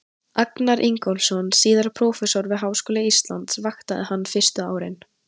Agnar Ingólfsson, síðar prófessor við Háskóla Íslands, vaktaði hann fyrstu árin.